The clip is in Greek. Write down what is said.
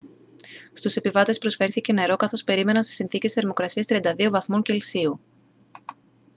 στους επιβάτες προσφέρθηκε νερό καθώς περίμεναν σε συνθήκες θερμοκρασίας 32 βαθμών κελσίου